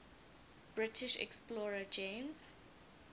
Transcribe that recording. british explorer james